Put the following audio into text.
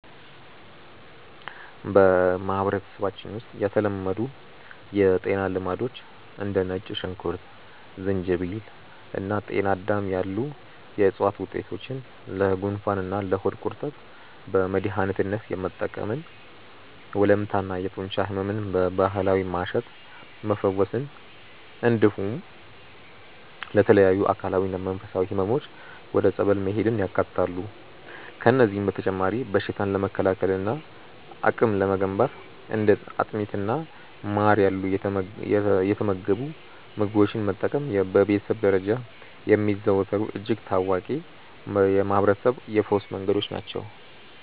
በማህበረሰባችን ውስጥ የተለመዱ የጤና ልማዶች እንደ ነጭ ሽንኩርት፣ ዝንጅብል እና ጤናዳም ያሉ የዕፅዋት ውጤቶችን ለጉንፋንና ለሆድ ቁርጠት በመድኃኒትነት መጠቀምን፣ ወለምታና የጡንቻ ሕመምን በባህላዊ ማሸት መፈወስን፣ እንዲሁም ለተለያዩ አካላዊና መንፈሳዊ ሕመሞች ወደ ጸበል መሄድን ያካትታሉ። ከእነዚህም በተጨማሪ በሽታን ለመከላከልና አቅም ለመገንባት እንደ አጥሚትና ማር ያሉ የተመገቡ ምግቦችን መጠቀም በቤተሰብ ደረጃ የሚዘወተሩ እጅግ ታዋቂ የማህርበረሰብ የፈውስ መንገዶች ናቸው።